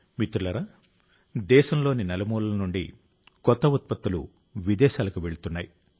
మిత్రులారా దేశంలోని నలుమూలల నుండి కొత్త ఉత్పత్తులు విదేశాలకు వెళ్తున్నాయి